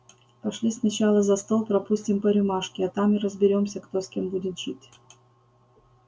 пошли сначала за стол пропустим по рюмашке а там и разберёмся кто с кем будет жить